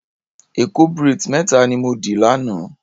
Èkó braids méta ni mo dì lánàá.